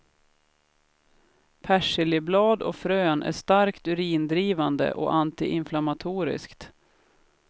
Persiljeblad och frön är starkt urindrivande och antiinflammatoriskt.